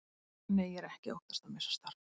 Nei, ég er ekki að óttast að missa starfið.